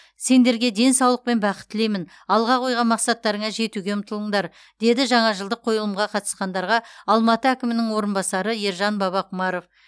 сендерге денсаулық пен бақыт тілеймін алға қойған мақсаттарыңа жетуге ұмтылыңдар деді жаңа жылдық қойылымға қатысқандарға алматы әкімінің орынбасары ержан бабақұмаров